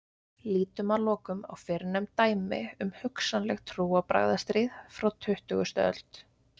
Lítum að lokum á fyrrnefnd dæmi um hugsanleg trúarbragðastríð frá tuttugustu öld.